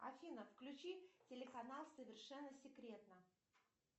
афина включи телеканал совершенно секретно